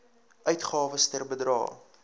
uitgawes ter bedrae